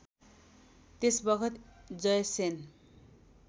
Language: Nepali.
त्यस बखत जयसेन